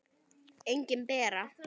Engin Bera.